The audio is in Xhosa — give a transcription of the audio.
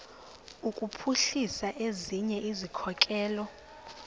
kuphuhlisa ezinye izikhokelo